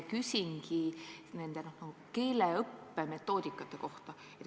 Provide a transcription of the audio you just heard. Küsingi keeleõppe metoodikate kohta.